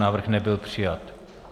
Návrh nebyl přijat.